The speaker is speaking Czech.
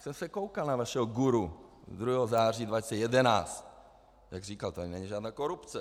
Jsem se koukal na vašeho guru 2. září 2011, jak říkal: "Tady není žádná korupce."